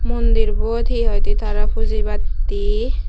mundir bot hi hoi di tara pujibatte.